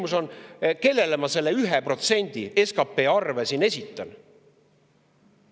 Mu küsimus on see: kellele ma esitan selle arve, 1% SKP‑st?